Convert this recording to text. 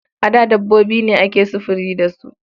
A da dabbobi ne ake sufuri da su.